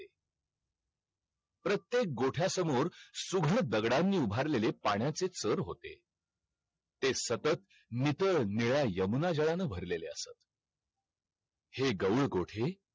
commerce ला economics law